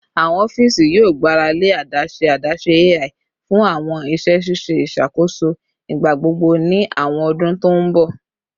Awọn ọfiisi yoo gbarale adaṣe adaṣe AI fun awọn iṣẹ ṣiṣe iṣakoso igbagbogbo ni awọn ọdun to n bọ